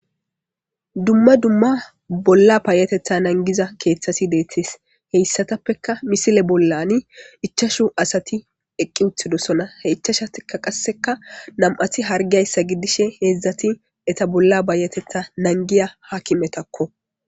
Dumma dumma payateththa nagiza keththati de'ettes hessatappekka misile bolla ichchachchu asati eqi uttidisonna ichachatikka qasekka nam'attikka harggi uttidayssa hedzdzati ette bolla payateththa nagiza haakimetakko